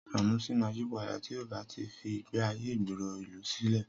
Sànúsí máa yípadà tí ọ bá tí fí ìgbé ayé ìgboro ìlú sílẹ̀